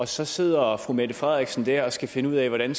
så sidder fru mette frederiksen der og skal finde ud af hvordan